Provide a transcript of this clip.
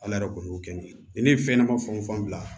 Ala yɛrɛ kun y'o kɛ ni ne ye fɛn ɲɛnama fan o fan bila